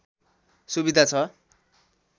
सुविधा छ